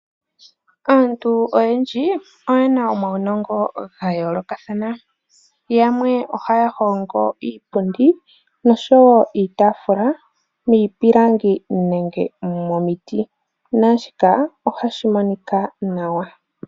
Aantu oyendji oye na omaunongo ga yoolokathana. Yamwe ohaya hongo iipundi noshowo iitaafula miipilangi nenge momiti naashika ohashi monika nawa.